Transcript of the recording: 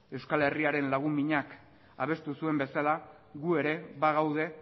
euskal herriaren lagun minak abestu zuen bezala gu ere bagaude